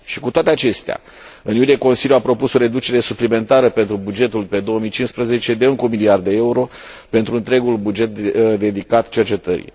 Cu toate acestea, în iulie, Consiliul a propus o reducere suplimentară pentru bugetul pe 2015 de încă un miliard de euro pentru întregul buget dedicat cercetării.